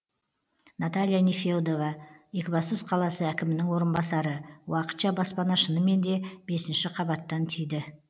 наталья нефедова екібастұз қаласы әкімінің орынбасары уақытша баспана шынымен де бесінші қабаттан тиді